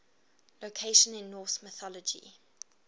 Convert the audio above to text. locations in norse mythology